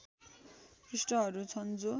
पृष्ठहरू छन् जो